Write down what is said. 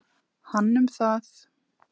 Hann um það.